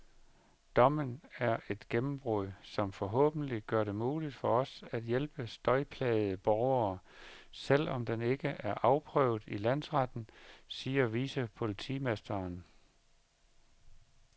Dommen er et gennembrud, som forhåbentlig gør det muligt for os at hjælpe støjplagede borgere, selv om den ikke er afprøvet i landsretten, siger vicepolitimesteren.